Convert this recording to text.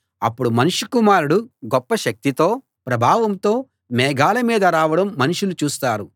అప్పుడు మనుష్య కుమారుడు గొప్ప శక్తితో ప్రభావంతో మేఘాల మీద రావడం మనుషులు చూస్తారు